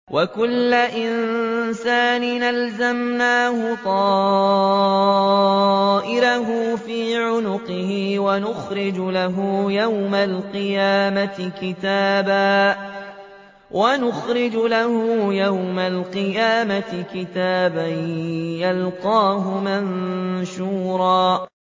وَكُلَّ إِنسَانٍ أَلْزَمْنَاهُ طَائِرَهُ فِي عُنُقِهِ ۖ وَنُخْرِجُ لَهُ يَوْمَ الْقِيَامَةِ كِتَابًا يَلْقَاهُ مَنشُورًا